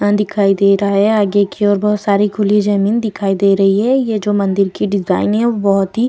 मैदान दिखाई दे रहा है आगे की ओर बहुत सारी खुली जमीन दिखाई दे रही है ये जो मंदिर की डिजाइने है वह बहुत ही --